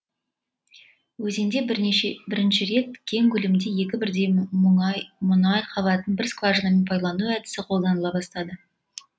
өзенде бірінші рет кең көлемде екі бірдей мұнай қабатын бір скважинамен пайдалану әдісі қолданыла бастады